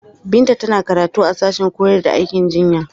Binta tana karatu a sashen koyar da aikin jinya.